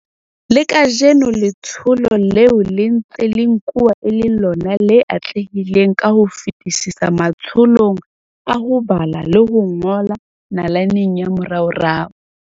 Le kajeno letsholo leo le ntse le nkuwa e le lona le atlehileng ka ho fetisisa matsholong a ho bala le ho ngola nalaneng ya moraorao.